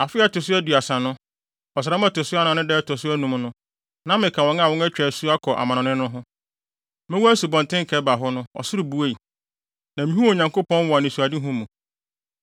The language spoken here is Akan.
Afe a ɛto so aduasa no, ɔsram a ɛto so anan no da a ɛto so anum no, na meka wɔn a wɔatwa wɔn asu akɔ amannɔne no ho. Mewɔ Asubɔnten Kebar ho no, ɔsoro buei, na mihuu Onyankopɔn wɔ anisoadehu mu.